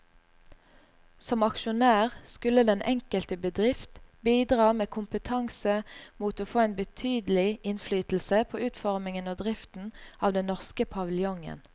Som aksjonær skulle den enkelte bedrift bidra med kompetanse mot å få en betydelig innflytelse på utformingen og driften av den norske paviljongen.